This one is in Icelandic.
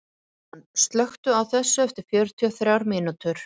Súsan, slökktu á þessu eftir fjörutíu og þrjár mínútur.